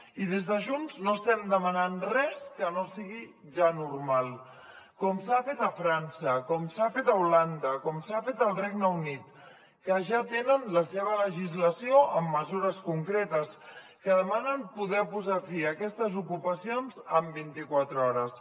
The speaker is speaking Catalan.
i des de junts no estem demanant res que no sigui ja normal com s’ha fet a frança com s’ha fet a holanda com s’ha fet al regne unit que ja tenen la seva legislació amb mesures concretes que demanen poder posar fi a aquestes ocupacions en vintiquatre hores